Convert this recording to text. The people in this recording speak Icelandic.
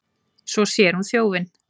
Svo sér hún þjófinn.